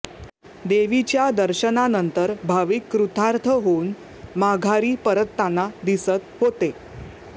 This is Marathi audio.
देवीच्या दर्शनानंतर भाविक कृतार्थ होऊन माघारी परतताना दिसत होते